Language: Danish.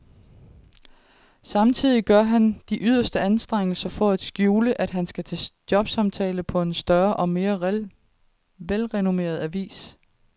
Samtidig gør han sig de yderste anstrengelser for at skjule, at han skal til jobsamtale på en større og mere velrenommeret avis.